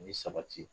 Ni sabati